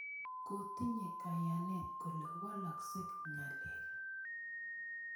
Kotinye kayanet kole walakse ng'alek.